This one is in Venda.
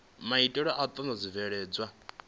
maitele a u andadza zwibveledzwa